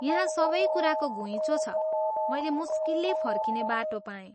यहाँ सबै कुराको घुइँचो छ, मैले मुस्किलले फर्किने बाटो पाएँ।